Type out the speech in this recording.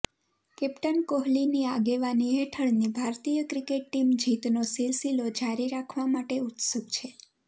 captain કોહલીની આગેવાની હેઠળની ભારતીય ક્રિકેટ ટીમ જીતનો સિલસિલો જારી રાખવા માટે ઉત્સુક છે